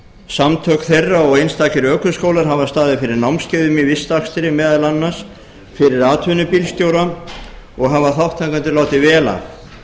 samtök þeirra og einstakir ökuskólar hafa staðið fyrir námskeiðum í vistakstri meðal annars fyrir atvinnubílstjóra og hafa þátttakendur látið vel af